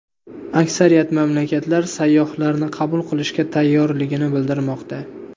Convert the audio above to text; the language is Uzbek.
Aksariyat mamlakatlar sayyohlarni qabul qilishga tayyorligini bildirmoqda.